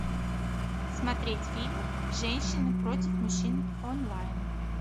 смотреть фильм женщины против мужчин онлайн